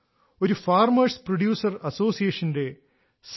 ഒരു farmers producer അസോസിയേഷന്റെ C